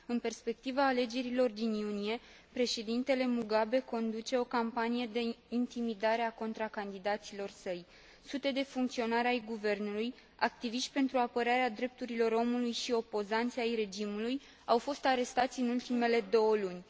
În perspectiva alegerilor din iunie, președintele Mugabe conduce o campanie de intimidare a contracandidaților săi. Sute de funcționari ai guvernului, activiști pentru apărarea drepturilor omului și opozanți ai regimului au fost arestați în ultimele două luni.